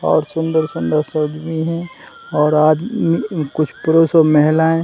और सुन्दर-सुन्दर से आदमी है और आद कुछ पुरुष और महिलाये --